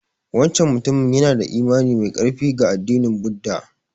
Wancan mutumin yana da imani mai ƙarfi ga addinin Buddha.